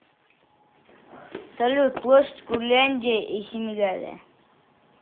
салют площадь курляндия и семигалия